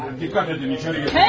Diqqət edin, içəri girin.